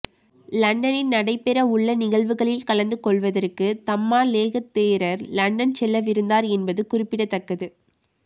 லண்டனில் நடைபெறவுள்ள நிகழ்வுகளில் கலந்து கொள்வதற்கு தம்மாலேக தேரர் லண்டன் செல்லவிருந்தார் என்பது குறிப்பிடத்தக்கது